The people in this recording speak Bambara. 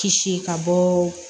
Kisi ka bɔ